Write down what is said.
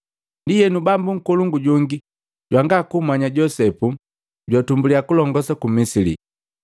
Ndienu, bambu nkolongu jongi jwanga kummanya Josepu, jwatumbuliya kulongosa ku Misili.